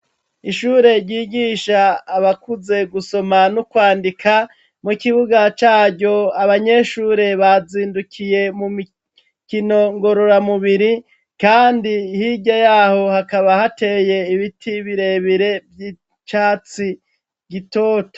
Ishure ryigisha abakuze gusoma no kwandika, mu kibuga caryo abanyeshure bazindukiye mu mikino ngororamubiri, kandi hirya yaho hakaba hateye ibiti birebire vy'icatsi gitoto.